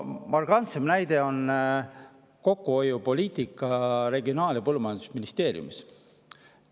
Markantseim näide on kokkuhoiupoliitika Regionaal‑ ja Põllumajandusministeeriumis.